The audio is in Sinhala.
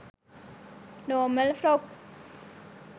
normal frocks